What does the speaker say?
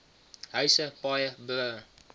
huise paaie brûe